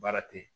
Baara te yen